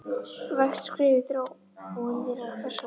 vægt skref í þróun nýrrar persónu.